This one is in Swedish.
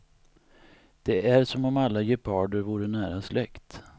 Det är som om alla geparder vore nära släkt.